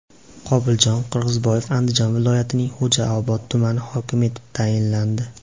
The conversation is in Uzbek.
Qobuljon Qirg‘izboyev Andijon viloyatining Xo‘jaobod tumani hokimi etib tayinlandi.